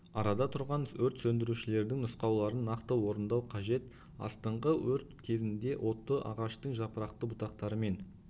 арада тұрған өрт сөндірушілердің нұсқауларын нақты орындау қажет астыңғы өрт кезінде отты ағаштың жапырақты бұтақтарымен